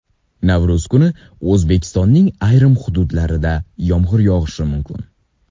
Navro‘z kuni O‘zbekistonning ayrim hududlarida yomg‘ir yog‘ishi mumkin.